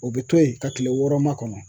O bɛ to yen ka kile wɔɔrɔ ma kɔnɔ